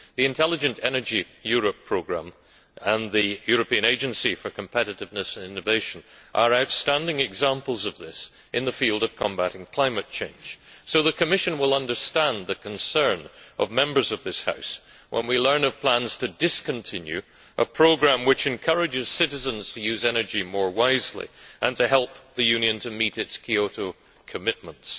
The Intelligent Energy Europe programme and the European Agency for Competitiveness and Innovation are outstanding examples of this in the field of combating climate change, so the Commission will understand the concern of Members of this House when we learn of plans to discontinue a programme which encourages citizens to use energy more wisely and to help the Union to meet its Kyoto commitments.